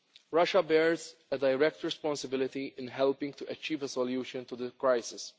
it. Russia bears a direct responsibility in helping to achieve a solution to the